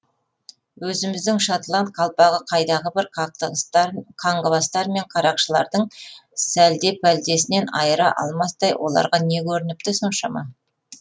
өзіміздің шотланд қалпағын қайдағы бір қаңғыбастар мен қарақшылардың сәлде пәлдесінен айыра алмастай оларға не көрініпті соншама